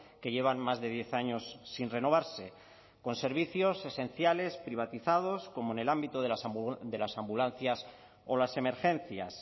que llevan más de diez años sin renovarse con servicios esenciales privatizados como en el ámbito de las ambulancias o las emergencias